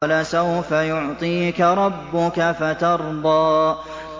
وَلَسَوْفَ يُعْطِيكَ رَبُّكَ فَتَرْضَىٰ